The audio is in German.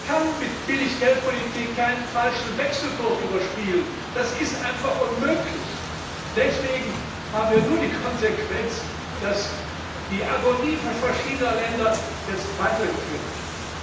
Man kann mit Billiggeldpolitik keinen falschen Wechselkurs überspielen, das ist einfach unmöglich! Deswegen haben wir nur die Konsequenz, dass die Agonie verschiedener Länder jetzt weitergeführt wird.